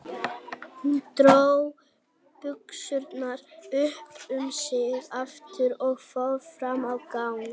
Hún dró buxurnar upp um sig aftur og fór fram á gang.